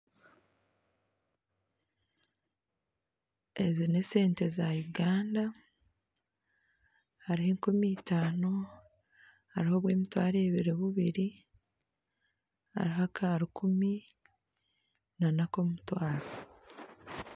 Ezi n'esente za Uganda hariho enkumi itaano hariho obw'emitwaro ebiri bubiri hariho aka rukumi n'akomutwaro.